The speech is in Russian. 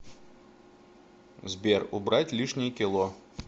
сбер убрать лишние кило